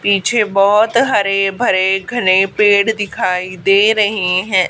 पीछे बहोत हरे भरे घने पेड़ दिखाई दे रहे है।